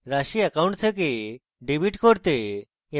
রাশি অ্যাকাউন্ট থেকে ডেবিট করতে